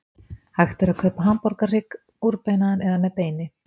Hægt er að kaupa hamborgarhrygg úrbeinaðan eða með beini.